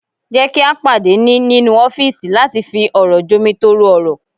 Jẹ́ kí a pàdé ní nínú ọ́fìsì láti fi ọ̀rọ̀ jomitoro ọ̀rọ̀